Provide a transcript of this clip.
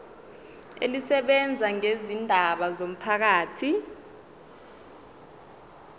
elisebenza ngezindaba zomphakathi